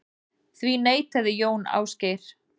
Því neitaði Jón Ásgeir.